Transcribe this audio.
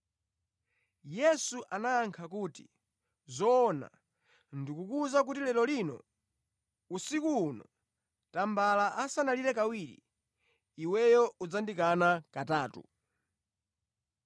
Yesu anayankha kuti, “Zoona ndikukuwuza kuti lero lino, usiku uno, tambala asanalire kawiri, iweyo udzandikana katatu.”